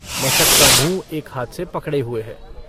मशक का मूँह एक हाथ से पकड़े हुए है।